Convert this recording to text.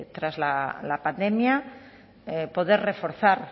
tras la pandemia poder reforzar